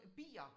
Bier